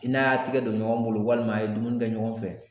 I n'a tɛgɛ don ɲɔgɔn bolo walima a ye dumuni kɛ ɲɔgɔn fɛ